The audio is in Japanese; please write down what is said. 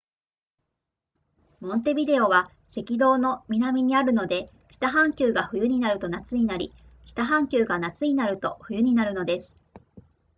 モンテビデオは赤道の南にあるので北半球が冬になると夏になり北半球が夏になると冬になるのです